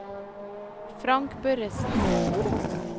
Frank Børresen